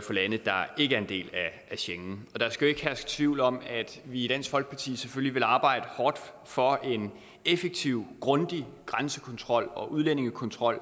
til lande der ikke er en del af schengen der skal jo ikke herske tvivl om at vi i dansk folkeparti selvfølgelig vil arbejde hårdt for en effektiv og grundig grænsekontrol og udlændingekontrol